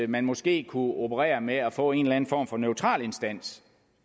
man måske kunne operere med at få en form for neutral instans